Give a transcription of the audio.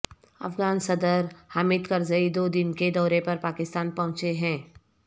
افغان صدر حامد کرزئی دو دن کے دورے پر پاکستان پہنچے ہیں